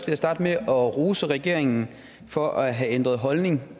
jeg starte med at rose regeringen for at have ændret holdning